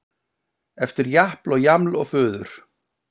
Eftir japl og jaml og fuður